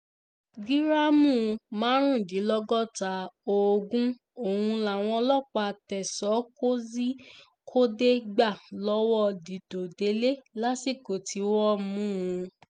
gíráàmù márùndínlọ́gọ́ta oògùn ọ̀hún làwọn ọlọ́pàá tẹ̀sán kozhikode gbà lọ́wọ́ díd̀òdélé lásìkò tí wọ́n mú un